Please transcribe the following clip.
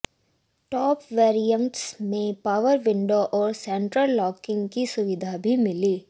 top variants में power window और central locking की सुविधा भी मिलेगी